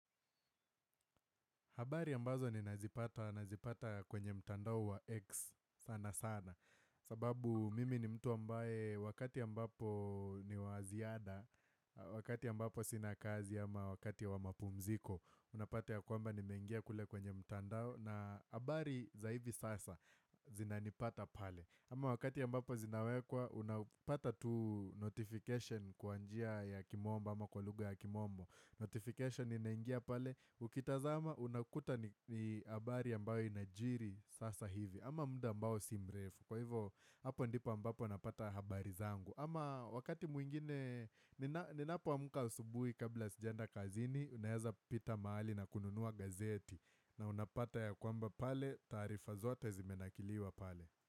Habari ambazo ninazipata kwenye mtandao wa X sana sana sababu mimi ni mtu ambaye wakati ambapo ni wa ziada Wakati ambapo sina kazi ama wakati wa mapumziko Unapata ya kwamba nimeingia kule kwenye mtandao na habari za hivi sasa zinanipata pale ama wakati ambapo zinawekwa unapata tu notification kwa njia ya kimombo ama kwa lugha ya kimombo. Notification inaingia pale ukitazama unakuta ni habari ambayo inajiri sasa hivi ama muda ambayo simrefu Kwa hivo hapo ndipo ambapo napata habari zangu ama wakati mwingine Ninapoamka asubuhi kabla sijaenda kazini Unaeza pita mahali na kununua gazeti na unapata ya kwamba pale taarifa zote zimenakiliwa pale.